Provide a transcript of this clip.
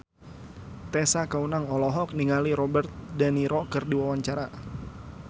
Tessa Kaunang olohok ningali Robert de Niro keur diwawancara